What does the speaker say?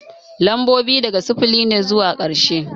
Lambobi daga sifili ne zuwa karshe